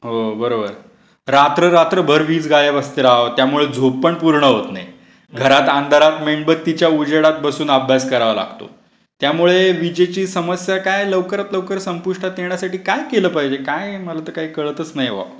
हो बरोबर. रात्र रात्रभर वीस गायब असते राव, त्यामुळे झोप पण पूर्ण होत नाही. घरात अंधारात मेणबत्तीच्या उजेडात बसून अभ्यास करावा लागतो. त्यामुळे विजेची समस्या काय लवकरात लवकर संपुष्टात येण्यासाठी काय केलं पाहिजे? काय मला तर काही कळतच नाहाये बा.